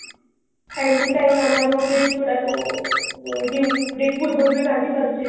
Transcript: Time to time ଆମେ ଆମ bills ଗୁଡାକୁ due date ପୂର୍ବରୁ ବି ବାନ୍ଧି ପାରୁଛେ